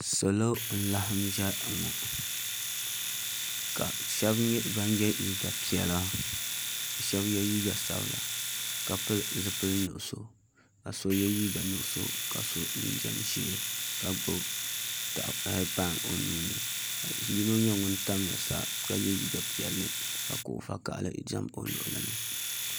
Salo n laɣam ʒiya ŋo ka shab nyɛ ban yɛ liiga piɛla ka shab yɛ liiga sabila ka pili zipili nuɣso ka so yɛ liiga nuɣso ka so jinjɛm ʒiɛ ka gbubi pai o nuuni ka yino nyɛ ŋun tamya sa ka yɛ liiga piɛlli ka kuɣu vakaɣali ʒɛ o luɣuli ni